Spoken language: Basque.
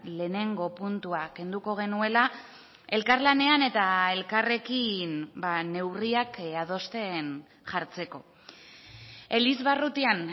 lehenengo puntua kenduko genuela elkarlanean eta elkarrekin neurriak adosten jartzeko elizbarrutian